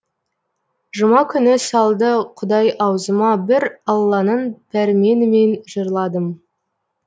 жұма күні салды құдай аузыма бір алланың пәрменімен жырладым